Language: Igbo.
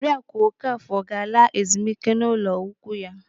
Oriaku Okafọ ga-ala ezemike n'ụlọ ikwu ya.